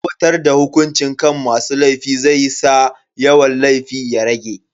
Aiwatar da hukunci kan masu laifi zai sa yawan laifi ya rage.